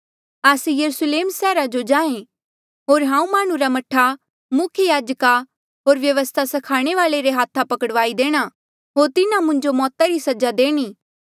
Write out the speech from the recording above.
आस्से यरुस्लेम सैहरा जो जाहें होर हाऊँ माह्णुं रा मह्ठा मुख्य याजका होर व्यवस्था स्खाणे वाल्ऐ रे हाथा पकड़ाई देणा होर तिन्हा मुंजो मौता री सजा देणी